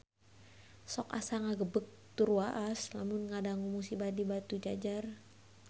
Sok asa ngagebeg tur waas lamun ngadangu musibah di Batujajar